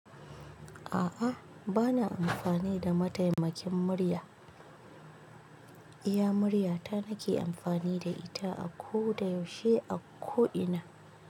A'a, bana amfani da mataimakin murya. Iya murya ta nake amfani da ita a ko da yaushe a ko ina.